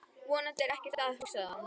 Vonandi er ekkert að, hugsaði hann.